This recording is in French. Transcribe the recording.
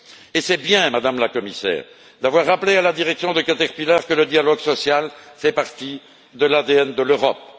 Et c'est bien, Madame la Commissaire, d'avoir rappelé à la direction de Caterpillar que le dialogue social fait partie de l'ADN de l'Europe.